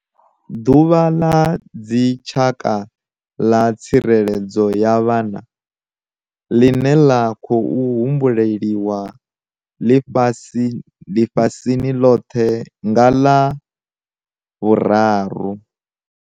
Ḓuvha ḽa Dzitshaka ḽa Tsireledzo ya Vhana, ḽine ḽa khou humbuliwa ḽifhasini ḽoṱhe nga ḽa 3